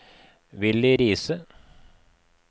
Villy Riise